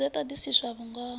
hu ḓo ṱo ḓisiswa vhungoho